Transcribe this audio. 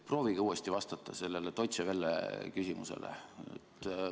Proovige uuesti vastata sellele Deutsche Welle küsimusele.